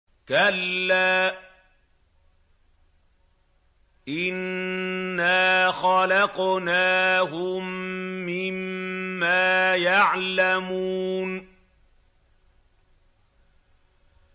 كَلَّا ۖ إِنَّا خَلَقْنَاهُم مِّمَّا يَعْلَمُونَ